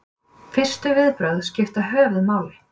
fyrstu viðbrögð skipta höfuðmáli